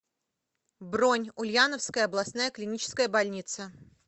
бронь ульяновская областная клиническая больница